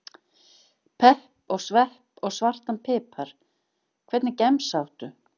Pepp og svepp og svartan pipar Hvernig gemsa áttu?